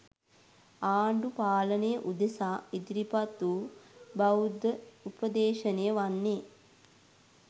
ආණ්ඩු පාලනය උදෙසා ඉදිරිපත් වූ බෞද්ධ උපදේශනය වන්නේ